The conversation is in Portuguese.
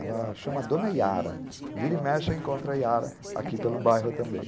Ela chama a dona Yara, vira e mexe, encontra a Yara aqui pelo bairro também.